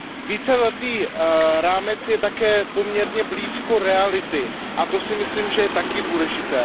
Víceletý rámec je také poměrně blízko reality, a to si myslím, že je také důležité.